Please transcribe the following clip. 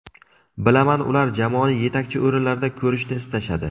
Bilaman ular jamoani yetakchi o‘rinlarda ko‘rishni istashadi.